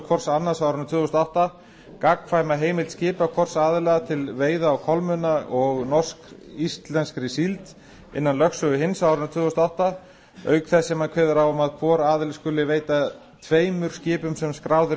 hvors annars á árinu tvö þúsund og átta gagnkvæma heimild skipa hvors aðila til veiða á kolmunna og norsk íslenskri síld innan lögsögu hins á árinu tvö þúsund og átta auk þess sem hann kveður á um að hvor aðili skuli veita tveimur skipum sem skráð eru í